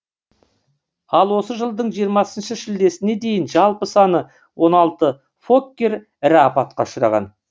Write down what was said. ал осы жылдың жиырмасыншы шілдесіне дейін жалпы саны он алты фоккер ірі апатқа ұшыраған